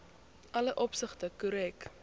alle opsigte korrek